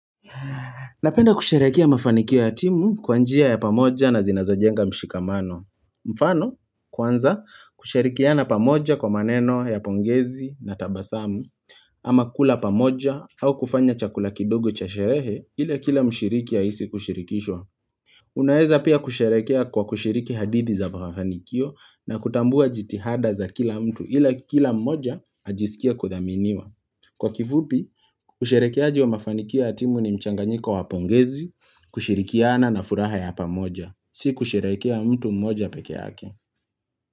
Napenda kusherekea mafanikio ya timu kwa njia ya pamoja na zinazojenga mshikamano. Mfano, kwanza kusharikiana pamoja kwa maneno ya pongezi na tabasamu, ama kula pamoja au kufanya chakula kidogo cha sherehe ila kila mshiriki ahisi kushirikishwa. Unaeza pia kusherekea kwa kushiriki hadithi za mafanikio na kutambua jitihada za kila mtu ila kila mmoja ajisikie kuthaminiwa. Kwa kifupi, usherekeaji wa mafanikio ya timu ni mchanganyiko wapongezi, kushirikiana na furaha ya hapa moja, si kusherekea mtu moja peke hake.